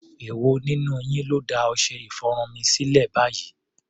Èwo nínú yín ló da ọṣẹ-ìfọrun sílẹ̀ báyìí?